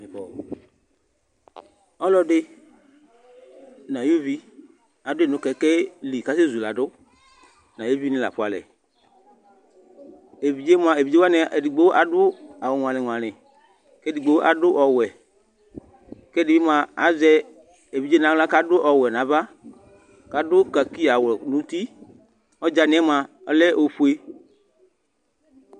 Ɔlɔdɩ ŋʊ aƴʊ ʊʋɩ adʊ ŋʊ ƙɛƙɛ lɩ kasɛ zʊladʊ ŋʊ aƴeʋɩ ŋɩ lafʊalɛ Eʋɩɖze edigbo adʊ awʊ gɔlɩ gɔlɩ, kedigbo adʊ ɔwɛ, kɛdɩbɩ mʊa azɛ eʋɩɖze nawla kadʊ ɔwɛ naʋa, kadʊ kakɩ awʊ ŋʊ ʊtɩ Ɔɖzaŋi ƴɛ mʊa ɔlɛ ofʊe